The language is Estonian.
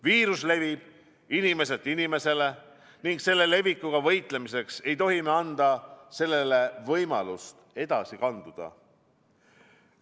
Viirus levib inimeselt inimesele ning selle levikuga võitlemiseks ei tohi me anda sellele võimalust edasi kanduda.